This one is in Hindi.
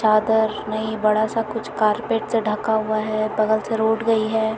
चादर नहीं बड़ा सा कुछ कारपेट सा ढका हुआ है बगल से रोड गई है।